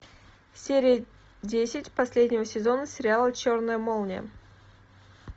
серия десять последнего сезона сериала черная молния